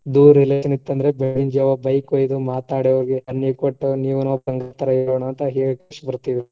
Relation ಇತ್ತಂದ್ರ bike ಒಯ್ದು ಮಾತಾಡಿ ಹೇಳಿ ಬರ್ತೀವಿ.